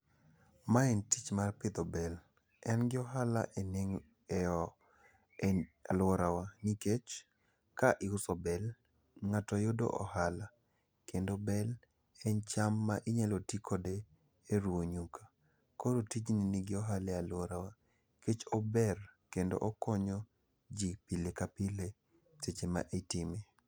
Mae ne tich mar pidho bel. En gi ohala e aluora wa. Nikech ka iuso bel, ng'ato yudo ohala kendo bel en cham ma inyalo ti kode e ruwo nyuka. Koro tijni ni gi ohala e aluora wa. Nikech ober kendo okonyo ji pile ka pile seche ma itime.